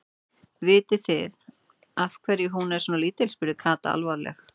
Vitið þið af hverju hún er svona lítil? spurði Kata alvarleg.